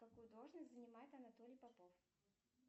какую должность занимает анатолий попов